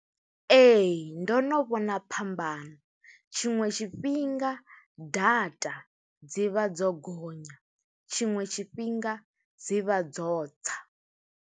Ee, ndo no vhona phambano. Tshiṅwe tshifhinga data dzi vha dzo gonya, tshiṅwe tshifhinga dzi vha dzo tsa.